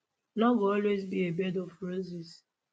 no go always be a bed of roses